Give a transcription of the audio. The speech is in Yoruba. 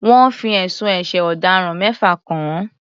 Wọ́n fi ẹ̀sùn ẹ̀ṣẹ̀ ọ̀daràn mẹ́fà kàn án.